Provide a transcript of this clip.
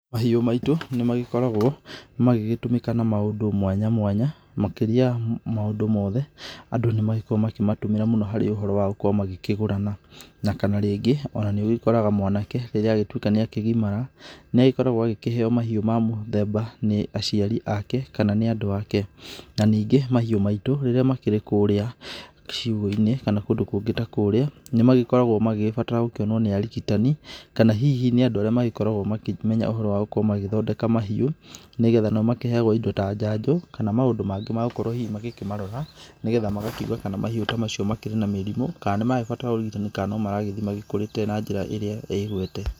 Mahiũ maitũ nĩ magĩkoragwo magĩgĩtũmĩka na maũndũ mwanya mwanya makĩria ya maũndũ mothe andũ nĩ magĩkoragwo makĩmatũmĩra mũno harĩ ũhoro wa gũkorwo magĩkĩgũrana na kana rĩngĩ ona nĩ ũgĩkoraga mwanake rĩrĩa agĩtuĩka nĩ akĩgimara niagĩkoragwo agĩkĩheyo mahiũ ma mũthemba nĩ aciari ake kana nĩ andũ ake. Na ningĩ mahiũ maitũ rĩrĩa makĩrĩ kũrĩa ciugũ-inĩ kana kũndũ kũngĩ ta kũrĩa nĩ magĩkoragwo magĩbatara gũkĩonwo nĩ arigitani kana hihi nĩ andũ arĩa magĩkoragwo makĩmenya ũhoro wa gũkorwo magĩthondeka mahiũ nĩgetha nĩmakĩheyagwo ĩndo ta njanjo kana maũndũ mangĩ ma gũkorwo hihi makĩmarora nĩgetha magakiuga kana mahiũ ta macio makĩrĩ na mĩrimũ kana nĩ maragĩbataraga ũrigitani kana nomaragĩthii makũrĩte na njĩra ĩrĩa ĩgwete.